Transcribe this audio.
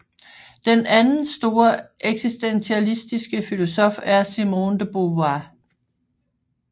Den anden store eksistentialistiske filosof er Simone de Beauvoir